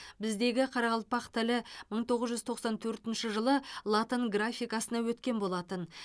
біздегі қарақалпақ тілі мың тоғыз жүз тоқсан төртінші жылы латын графикасына өткен болатын